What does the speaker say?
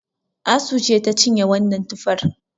Asu ce ta cinye wannan tufar